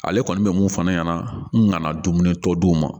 Ale kɔni bɛ mun fɔ ne ɲɛna n nana dumuni tɔ di u ma